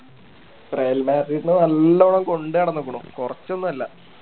Real Madrid നല്ലോണം കൊണ്ട് നടന്നിക്കണു കൊറച്ച് ഒന്നും അല്ല